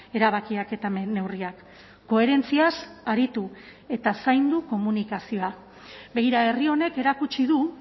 erabakiak eta neurriak koherentziaz aritu eta zaindu komunikazioa begira herri honek erakutsi du